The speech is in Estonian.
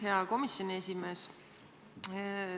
Hea komisjoni esimees!